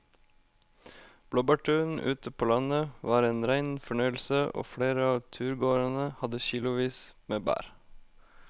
Blåbærturen ute på landet var en rein fornøyelse og flere av turgåerene hadde kilosvis med bær.